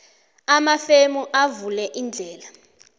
amafemu avule indlela